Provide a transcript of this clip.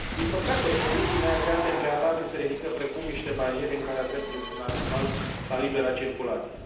Din păcate, condiții neagreate în prealabil se ridică, precum niște bariere, în calea dreptului fundamental la libera circulație.